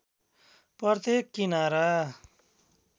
प्रत्येक किनारा